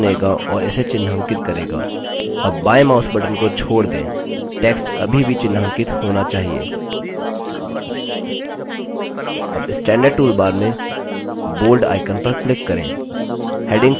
यह text को चुनेगा और इसे चिन्हांकित करेगा अब बायें mouse button को छोड़ दें text अभी भी चिन्हांकित होना चाहिए अब standard toolbar में bold icon पर click करें